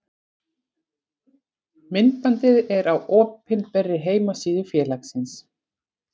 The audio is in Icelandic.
Myndbandið er á opinberri heimasíðu félagsins.